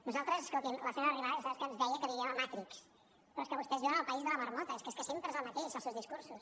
nosaltres escolti’m la senyora arrimadas ja sap que ens deia que vivíem a matrix però és que vostès viuen al país de la marmota és que sempre és el mateix els seus discursos